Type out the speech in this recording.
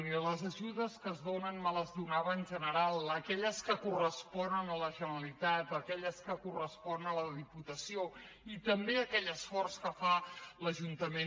i les ajudes que es donen me les donava en general aquelles que corresponen a la generalitat aquelles que corresponen a la diputació i també aquell esforç que fa l’ajuntament